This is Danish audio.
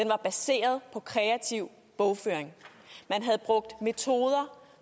var baseret på kreativ bogføring man havde brugt metoder